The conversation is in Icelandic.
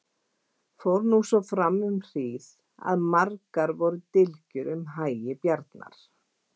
Fór nú svo fram um hríð að margar voru dylgjur um hagi Bjarnar.